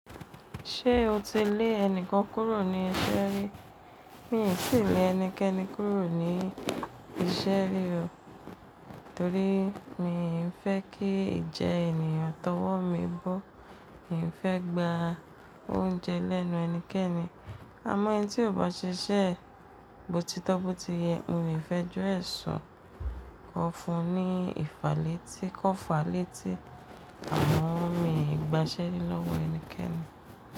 Ṣé o ti lé ẹnìkan kúrò ní iṣẹ́ rí? Mi ò tí ì lè ẹnikẹ́ni kúrò ní iṣẹ́ rí o, torí mi n fẹ́ kí ì ijẹ ènìyàn tọwọ́ mi bó. Mi n fẹ́ gba oúnjẹ lẹ́nu ẹnikẹ́ni. Àmọ́ ẹni tí ò bá ṣiṣẹ́ botitọ́ botiyẹ, mo le fi ẹjọ́ ẹ sùn kọ fún un ní ìfalétí kọ́ falétí. Àmọn mi gbaṣẹ́ rí lọ́wọ ẹnikẹ́ni.